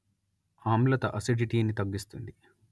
ఆమ్లతఅసిడిటీ ను తగ్గిస్తుంది